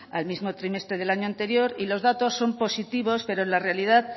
al mismo trimestre del año anterior y los datos son positivos pero en la realidad